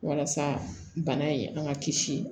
Walasa bana in an ka kisi